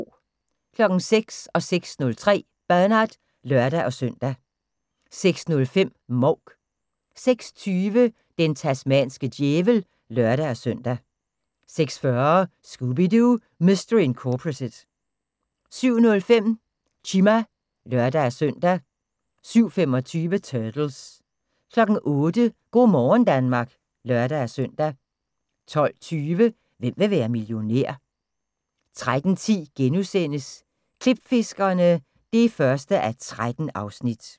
06:00: Bernard (lør-søn) 06:03: Bernard (lør-søn) 06:05: Mouk 06:20: Den tasmanske djævel (lør-søn) 06:40: Scooby-Doo! Mystery Incorporated 07:05: Chima (lør-søn) 07:25: Turtles 08:00: Go' morgen Danmark (lør-søn) 12:20: Hvem vil være millionær? 13:10: Klipfiskerne (1:13)*